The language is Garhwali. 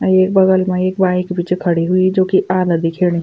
अर येक बगल मा एक बाइक भी च खड़ी हुई जुकी आधा दिखेणी।